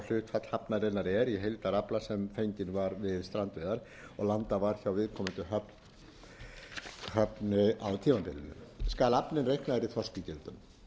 hlutfall hafnarinnar er í heildarafla sem fenginn var við strandveiðar og landað var hjá viðkomandi höfn á tímabilinu skal aflinn reiknaður í þorskígildum